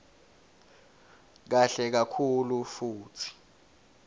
kahle kakhulu futsi